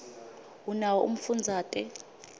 unawo umfundazate